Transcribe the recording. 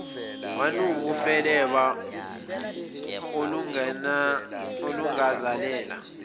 wanuka ufeleba olangazelela